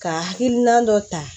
Ka hakilina dɔ ta